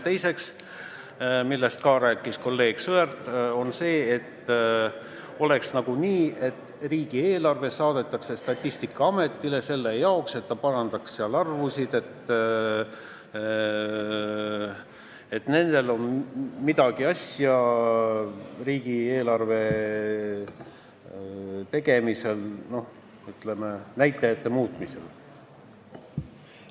Teiseks, sellest rääkis ka kolleeg Sõerd, oleks nagu nii, et riigieelarve saadetakse Statistikaametile selle jaoks, et ta parandaks seal arvusid, et nendel on midagi asja riigieelarve tegemisega, ütleme, näitajate muutmisega.